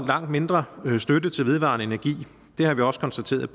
langt mindre støtte til vedvarende energi har vi også konstateret